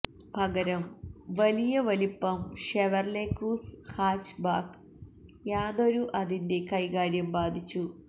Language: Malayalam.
പകരം വലിയ വലിപ്പം ഷെവർലെ ക്രൂസ് ഹാച്ച്ബാക്ക് യാതൊരു അതിന്റെ കൈകാര്യം ബാധിച്ചു